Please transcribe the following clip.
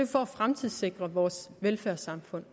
for at fremtidssikre vores velfærdssamfund